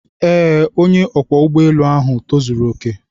Ee, onye ọkwọ ụgbọ elu ahu tozuru oke.